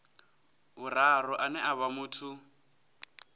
vhuraru ane a vha muthu